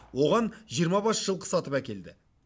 оған жиырма бас жылқы сатып әкелді